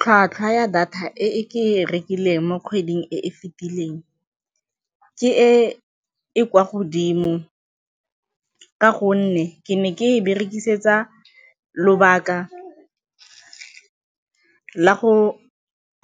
Tlhwatlhwa ya data e ke e rekileng mo kgweding e e fetileng ke e e kwa godimo ka gonne ke ne ke e berekisetsa lobaka la go